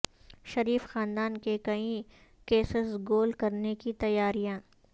شریف خاندان کے کئی کیسز گول کرنے کی تیاریاں